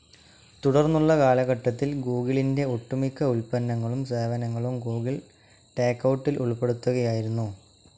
തുടർന്നുള്ള കാലഘട്ടത്തിൽ ഗൂഗിളിന്റെ ഒട്ടുമിക്ക ഉൽപന്നങ്ങളും സേവനങ്ങളും ഗൂഗിൾ ടേക്കൗട്ടിൽ ഉൾപ്പെടുത്തുകയായിരുന്നു.